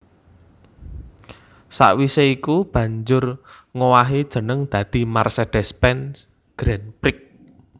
Sawisé iku banjur ngowahi jeneng dadi Mercedes Benz Grand Prix